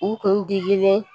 U kun didilen